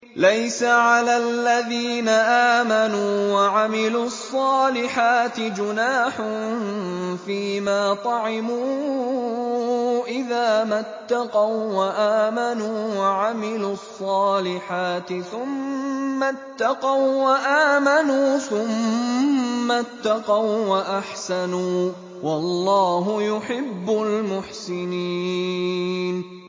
لَيْسَ عَلَى الَّذِينَ آمَنُوا وَعَمِلُوا الصَّالِحَاتِ جُنَاحٌ فِيمَا طَعِمُوا إِذَا مَا اتَّقَوا وَّآمَنُوا وَعَمِلُوا الصَّالِحَاتِ ثُمَّ اتَّقَوا وَّآمَنُوا ثُمَّ اتَّقَوا وَّأَحْسَنُوا ۗ وَاللَّهُ يُحِبُّ الْمُحْسِنِينَ